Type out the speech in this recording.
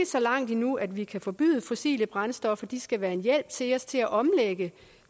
så langt endnu at vi kan forbyde fossile brændstoffer de skal være en hjælp til os til at omlægge